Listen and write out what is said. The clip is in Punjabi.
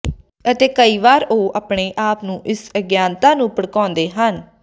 ਅਤੇ ਕਈ ਵਾਰ ਉਹ ਆਪਣੇ ਆਪ ਨੂੰ ਇਸ ਅਗਿਆਨਤਾ ਨੂੰ ਭੜਕਾਉਂਦੇ ਹਨ